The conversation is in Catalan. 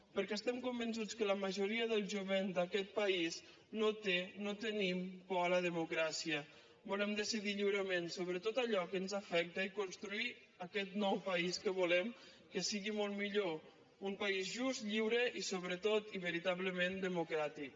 perquè estem convençuts que la majoria del jovent d’aquest país no té no tenim por a la democràcia volem decidir lliurement sobre tot allò que ens afecta i construir aquest nou país que volem que sigui molt millor un país just lliure i sobretot veritablement democràtic